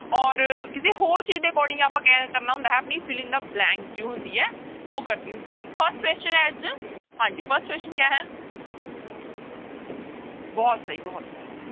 ਔਰ ਕਿਸੇ ਹੋਰ ਚੀਜ਼ ਦੇ according ਆਪਾਂ ਕ ਕਰਨਾ ਹੁੰਦਾ ਹੈ ਆਪਣੀ filling the blank ਜੋ ਹੁੰਦੀ ਹੈ ਉਹ ਕਰਨੀ ਹੁੰਦੀ ਹੈ ਤਾਂ first question ਹੈ ਅੱਜ, ਹਾਂਜੀ first question ਕਿਆ ਹੈ ਬਹੁਤ ਸਹੀ ਬਹੁਤ ਸਹੀ।